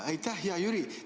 Aitäh, hea Jüri!